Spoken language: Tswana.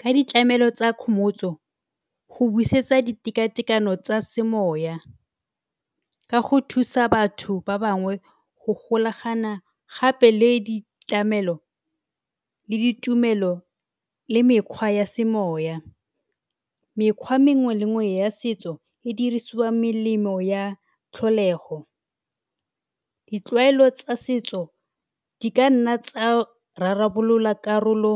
Ka ditlamelo tsa kgomotso go busetsa diteka-tekano tsa semoya ka go thusa batho ba bangwe go golagana gape le ditlamelo, le ditumelo, le mekgwa ya semoya. Mekgwa mengwe le mengwe ya setso e dirisiwa melemo ya tlholego, ditlwaelo tsa setso di kanna tsa rarabolola karolo